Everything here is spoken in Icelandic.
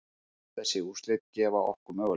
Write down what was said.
Þessi úrslit gefa okkur möguleika